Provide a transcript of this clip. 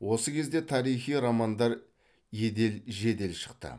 осы кезде тарихи романдар едел жедел шықты